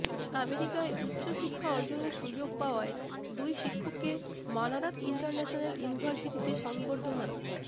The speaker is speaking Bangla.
আমেরিকায় উচ্চ শিক্ষা অর্জনের সুযোগ পাওয়ায় দুই শিক্ষককে মানারাত ইন্টারন্যাশনাল ইউনিভার্সিটিতে সংবর্ধনা